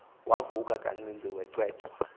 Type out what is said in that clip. wavuka kancinci wachwechwa